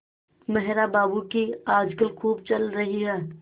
मेहरा बाबू की आजकल खूब चल रही है